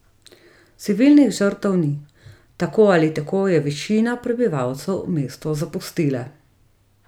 Civilnih žrtev ni, tako ali tako je večina prebivalcev mesto zapustila.